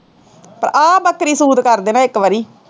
ਤਾਂ ਆਹ ਬੱਕਰੀ ਸੂਤ ਕਰ ਦੇ ਨਾ ਇੱਕ ਵਾਰੀ